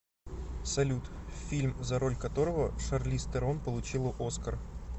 салют фильм за роль которого шарлиз террон получила оскар